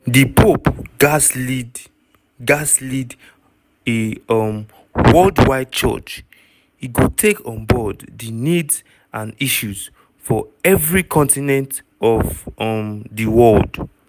di pope gatz lead gatz lead a um worldwide church e go take on board di needs and issues for evri continent of um di world.